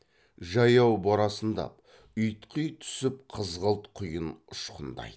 жаяу борасындап ұйтқи түсіп қызғылт құйын ұшқындайды